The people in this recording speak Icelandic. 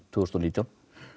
þúsund og nítján